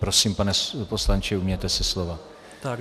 Prosím, pane poslanče, ujměte se slova.